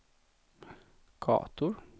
gator